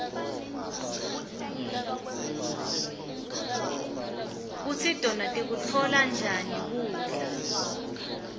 kutsi tona tikutfola njani kudla